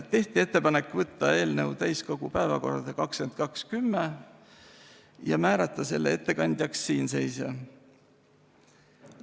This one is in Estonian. Tehti ettepanek võtta eelnõu täiskogu päevakorda 22. oktoobriks ja määrata ettekandjaks siinseisja.